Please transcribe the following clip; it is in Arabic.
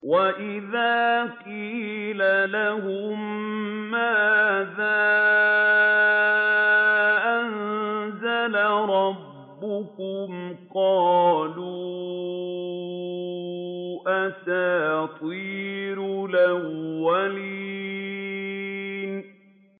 وَإِذَا قِيلَ لَهُم مَّاذَا أَنزَلَ رَبُّكُمْ ۙ قَالُوا أَسَاطِيرُ الْأَوَّلِينَ